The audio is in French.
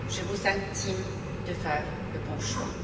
Je vous intime de faire le bon choix.